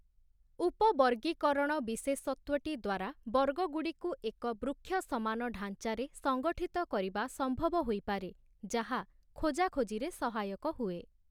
ଉପବର୍ଗୀକରଣ ବିଶେଷତ୍ଵଟି ଦ୍ଵାରା ବର୍ଗଗୁଡ଼ିକୁ ଏକ ବୃକ୍ଷ ସମାନ ଢାଞ୍ଚାରେ ସଂଗଠିତ କରିବା ସମ୍ଭବ ହୋଇପାରେ, ଯାହା ଖୋଜାଖୋଜିରେ ସହାୟକ ହୁଏ ।